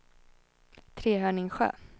Trehörningsjö